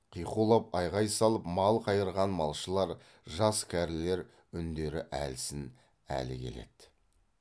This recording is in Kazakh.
қиқулап айғай салып мал қайырған малшылар жас кәрілер үндері әлсін әлі келеді